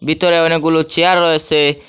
ভিতরে অনেকগুলো চেয়ার রয়েসে।